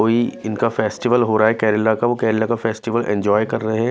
कोई इनका फेस्टिवल हो रहा है केरला का वो केरला का फेस्टिवल एंजॉय कर रहे हैं।